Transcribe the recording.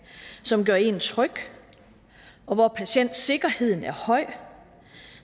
som gør en tryg og hvor patientsikkerheden er høj